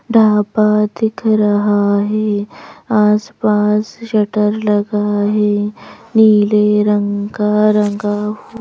ढापा दिख रहा है आसपास शटर लगा है नीले रंग का रंगाव --